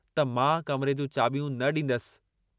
त मां कमरे जूं चावि॒यूं न ॾींदसि।